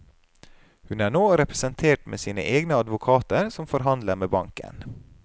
Hun er nå representert med sine egne advokater som forhandler med banken.